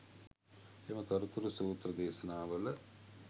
එම තොරතුරු සූත්‍ර දේශනාවල